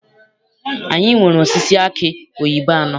Anyị nwere osisi aki oyibo anọ.